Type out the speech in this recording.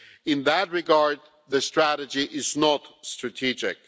In that regard, the strategy is not strategic.